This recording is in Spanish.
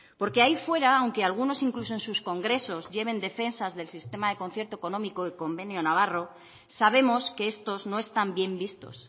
porque ahí fuera aunque algunos incluso en sus congresos lleven defensas del sistema de concierto económico y convenio navarro sabemos que estos no están bien vistos